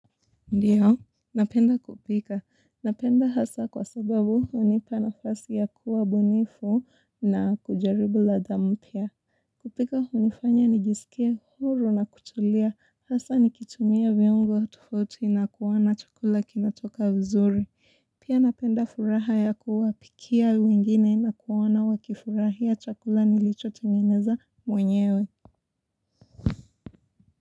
Ndiyo, napenda kupika. Napenda hasa kwa sababu hunipa nafasi ya kuwa bunifu na kujaribu ladha mpya. Kupika hunifanya ni jisikie huru na kutulia. Hasa ni kitumia viungo tofauti na kuona chakula kinatoka vizuri. Pia napenda furaha ya kuwa pikia wengine na kuwaona wa kifurahia chakula nilichotengeneza mwenyewe.